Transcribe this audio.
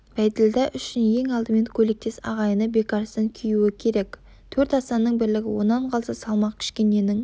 бәйділда үшін ең алдымен көйлектес ағайыны бекарыстан күюі керек төрт асанның бірлігі онан қалса салмақ кішкененің